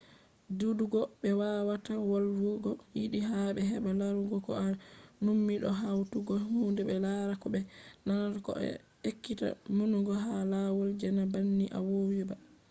didugo be wawata wolwugo yiɗi ha bedda larugo ko a nummi do hautugo hunde be larata ko be nanata bo a ekkita numugo ha lawol je na banni a vowi ba